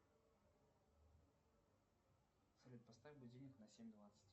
салют поставь будильник на семь двадцать